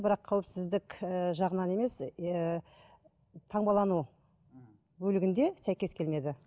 бірақ қауіпсіздік ііі жағынан емес ііі таңбалану мхм бөлігінде сәйкес келмеді